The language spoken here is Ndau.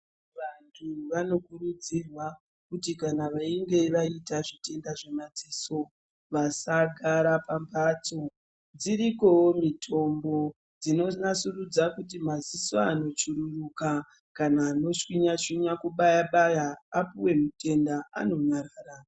Vantu vanokuridzirwa kuti kana veinge vaite zvitenda zvemadziso vasagara pambatso, dzirikowo mitombo dzinonasurudza kuti madziso anochururuka kana anoshwinya shwinya kubayabaya apuwe mutenda anonyarara.